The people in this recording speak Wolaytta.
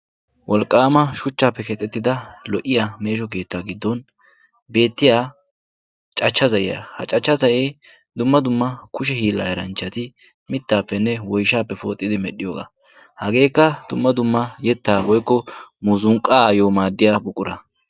wolqqaama shuchchaappe keexettida lo77iya meesho keettaa giddon beettiya cachcha za7iyaa. ha cachcha da7ee dumma dumma kushe hiillaa hiranchchati mittaappenne woishaappe pooxidi medhdhiyoogaa .hageekka dumma dumma yettaa boikko muzunqqaayyo maaddiya buqura.